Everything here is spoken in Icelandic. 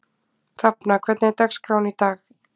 Hrafna, hvernig er dagskráin í dag?